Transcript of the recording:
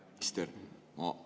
Hea minister!